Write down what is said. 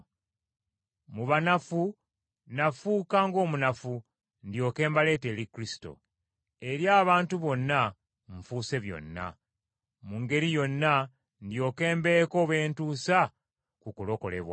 Mu banafu nafuuka ng’omunafu ndyoke mbaleete eri Kristo. Eri abantu bonna nfuuse byonna, mu ngeri yonna ndyoke mbeeko beentusa ku kulokolebwa.